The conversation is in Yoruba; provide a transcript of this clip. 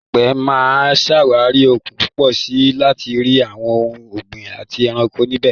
Láìpẹ́, mà á ṣàwárí òkun púpọ̀ sí i láti rí àwọn ohun ọ̀gbìn àti ẹranko níbẹ̀.